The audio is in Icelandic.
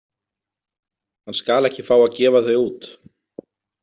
Hann skal ekki fá að gefa þau út.